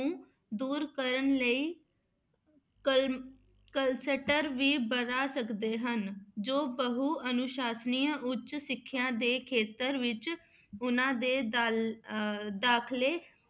ਦੂਰ ਕਰਨ ਲਈ ਕਲ~ cluster ਵੀ ਬਣਾ ਸਕਦੇੇ ਹਨ, ਜੋ ਬਹੁ ਅਨੁਸਾਸਨੀ ਉੱਚ ਸਿੱਖਿਆ ਦੇ ਖੇਤਰ ਵਿੱਚ ਉਹਨਾਂ ਦੇ ਦਾਲ ਅਹ ਦਾਖਲੇ